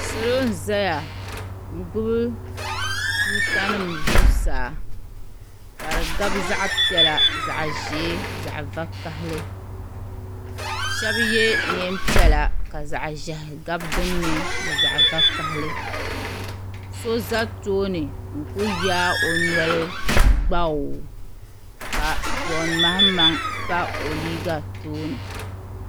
salo n-zaya n-gbubi tuuta nima zuɣusaa ka di gabi zaɣ' piɛla zaɣ' ʒee zaɣ' vakahili shɛba ye neen' piɛla ka zaɣ' ʒɛhi gabi din ni ni zaɣ' vakahili so za tooni n-kuli yaagi o noli gbaaw! ka John Mahamaŋ pa o liiga tooni.